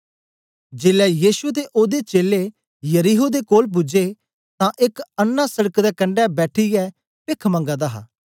जेलै यीशु ते ओदे चेलें यरीहो दे कोल पूजे तां एक अन्नां सड़क दे कंडै बैठिऐ पेख मंगा दा हा